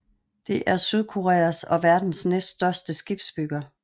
Det er Sydkoreas og verdens næststørste skibsbygger